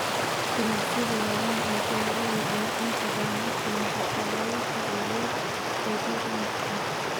Ganacsiyada waaweyn ee beeralayda ayaa inta badan la kulma caqabado sharciyeed oo deegaanka ah.